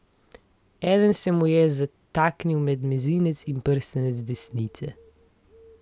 Eden se mu je zataknil med mezinec in prstanec desnice.